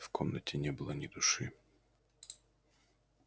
в комнате не было ни души